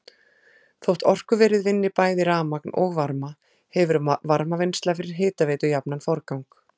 Þótt orkuverið vinni bæði rafmagn og varma hefur varmavinnsla fyrir hitaveitu jafnan forgang.